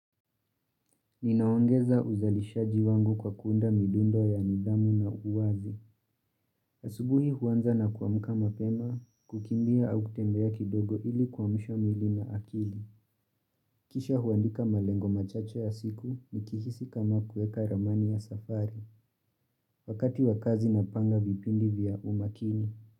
Ninaongeza uzalishaji wangu kwa kuunda midundo ya nidhamu na uwazi. Asubuhi huanza na kuamka mapema, kukimbia au kutembea kidogo ili kuamsha mwili na akili. Kisha huandika malengo machache ya siku nikihisi kama kueka ramani ya safari. Wakati wa kazi napanga vipindi vya umakini.